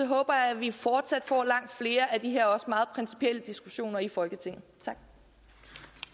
håber jeg at vi fortsat får langt flere af de her også meget principielle diskussioner i folketinget